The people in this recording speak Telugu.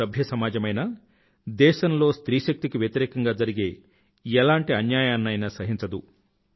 ఏ సభ్య సమాజమైనా దేశంలో స్త్రీ శక్తి కి వ్యతిరేకంగా జరిగే ఏలాంటి అన్యాయాన్నైనా సహించదు